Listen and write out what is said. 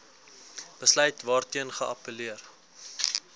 besluit waarteen geappelleer